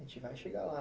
A gente vai chegar lá.